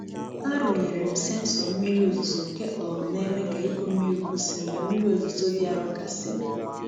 Arụnyere m sensọ mmiri ozuzo nke um na-eme ka ịkụ mmiri kwụsị mgbe mmiri ozuzo dị arọ gasịrị.